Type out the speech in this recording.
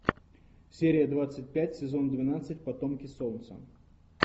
серия двадцать пять сезон двенадцать потомки солнца